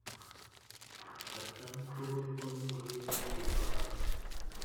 At kaan tukul komi kiy negegoitoi